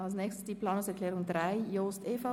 Als Nächstes folgt die Planungserklärung 3, Jost/EVP.